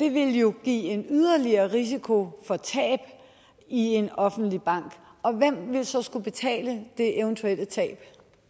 det ville jo give en yderligere risiko for tab i en offentlig bank og hvem ville så skulle betale det eventuelle tab